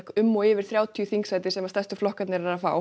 um og yfir þrjátíu þingsæti sem stærstu flokkarnir eru að fá